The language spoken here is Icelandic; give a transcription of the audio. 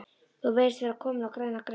Þú virðist vera kominn á græna grein